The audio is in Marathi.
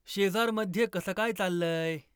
शेजारमध्ये कसं काय चाललंय